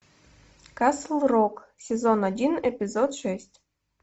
касл рок сезон один эпизод шесть